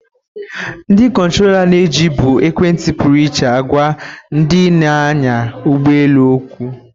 Ndị kontrọla na-eji bụ ekwentị pụrụ iche agwa ndị na-anya ụgbọ elu okwu.